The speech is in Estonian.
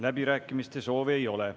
Läbirääkimiste soovi ei ole.